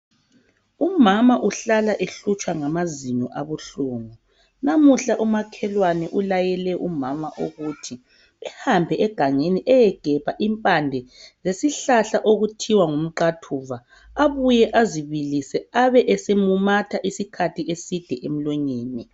Umama uhlala ehlutshwa ngamazinyo abuhlungu namuhla umakhelwani ulayele umama ukuthi ehambe egangeni eyegebha impande zesihlahla okuthiwa ngumqathuva abuye azibilise abe esemumatha isikhathi eside emlonyeni